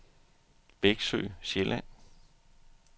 Veksø Sjælland